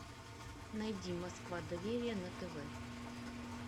найди москва доверие на тв